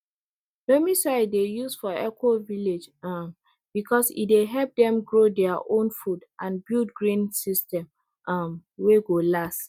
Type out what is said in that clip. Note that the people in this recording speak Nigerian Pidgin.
loamy soil dey used for ecovillage um because e dey help dem grow their own food and build green system um wey go last